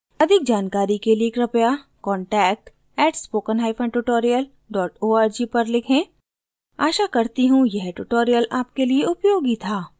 अधिक जानकारी के लिए कृपया contact @spokentutorial org पर लिखें